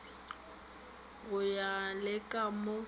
go ya le ka moo